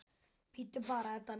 Bíddu bara, Edda mín.